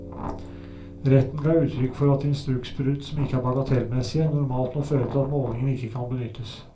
Retten ga uttrykk for at instruksbrudd som ikke er bagatellmessige, normalt må føre til at målingen ikke kan benyttes.